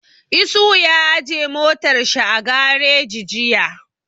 Isuhu ya aje motar shi a gareji jiya